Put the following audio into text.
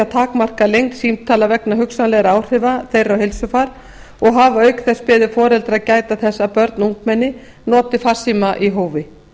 takmarka lengd símtala vegna hugsanlegra áhrifa þeirra á heilsufar og hafa auk þess beðið foreldra að gæta þess að börn og ungmenni noti farsíma í hófi